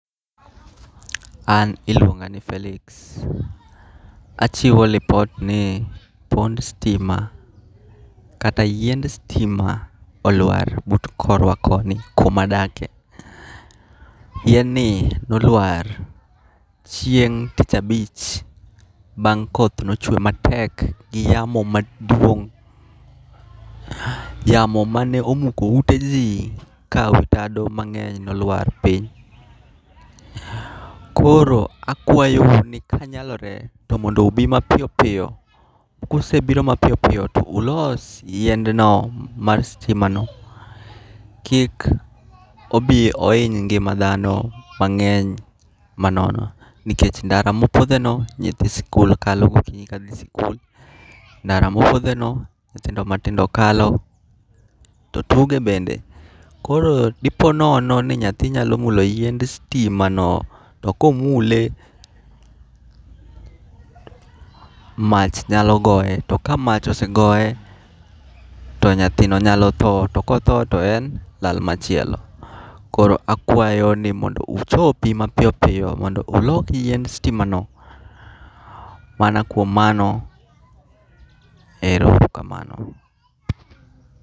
An iluonga ni Felix, achiwo report ni pond stima kata yiend stima olwar but korwa koni kumadakie, yieni nolwar chieng' tich abich bang' koth nochwe matek gi yamo maduong', yamo mane omuko uteji ka wi tado mange'ny nolwar piny, koro akuayou ni kanyalore to mondo ubi mapiyo piyo kusebiro mapiyo piyo to mondo ulos yiendno mar stimano kik obi iyiny ngi'ma thano mange'ny manono nikech ndara ma opotheno nyithi sikul kalo gokinyi kathi sikul, ndara ma opotheno nyithindo matindao kalo to tuge bende, koro di po nono ni nyathi nyalo mulo yiend sitimano to komule mach nyalo goye, to ka mach osegoye to nyathino nyalo tho to kotho to en lal machielo roko akuayo ni mondo uchopi mapiyo piyo mondo uloki yiend sitimano mana kuom mano ero kamano.